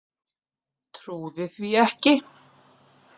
Trúði því ekki.